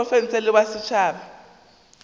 wa profense le wa setšhaba